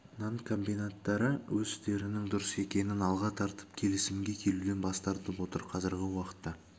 нан комбинаттары өз істерінің дұрыс екенін алға тартып келісімге келуден бас тартып отыр қазіргі уақытта